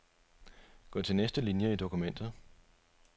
Gå til næste linie i dokumentet.